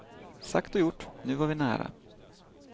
Sagt och gjort, nu var vi nära.